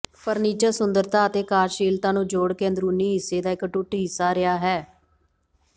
furniture ਸੁੰਦਰਤਾ ਅਤੇ ਕਾਰਜਸ਼ੀਲਤਾ ਨੂੰ ਜੋੜ ਕੇ ਅੰਦਰੂਨੀ ਹਿੱਸੇ ਦਾ ਇਕ ਅਟੁੱਟ ਹਿੱਸਾ ਰਿਹਾ ਹੈ